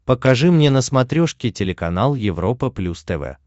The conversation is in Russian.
покажи мне на смотрешке телеканал европа плюс тв